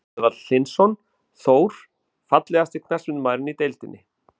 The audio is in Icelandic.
Ágúst Eðvald Hlynsson, Þór.Fallegasti knattspyrnumaðurinn í deildinni?